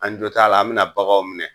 An jɔ t'a la an bi na bagaw minɛ.